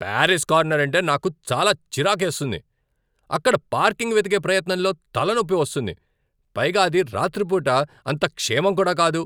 Paris Corner అంటే నాకు చాలా చిరాకేస్తుంది. అక్కడ పార్కింగ్ వెతికే ప్రయత్నంతో తలనొప్పి వస్తుంది, పైగా అది రాత్రి పూట అంత క్షేమం కూడా కాదు.